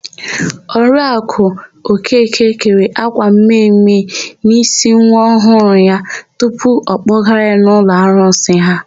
Oriaku Okeke kere ákwà mme mme n'ísí nwa ọhụụ ya mgbe a kpọgara ya n'ụlọ arụsị ha.